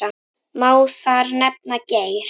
Má þar nefna: Geir